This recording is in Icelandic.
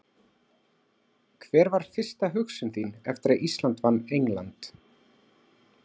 Hver var fyrsta hugsun þín eftir að Ísland vann England?